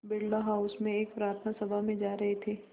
Birla house में एक प्रार्थना सभा में जा रहे थे